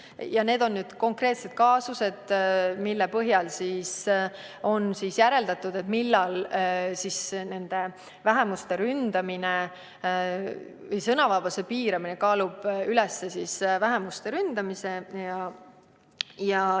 Ja need on konkreetsed kaasused, mille põhjal on järeldatud, millal kaalub sõnavabaduse piiramine üles vähemuste ründamise.